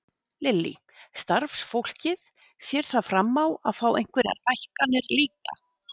Lillý: Starfsfólkið, sér það fram á að fá einhverjar hækkanir líka?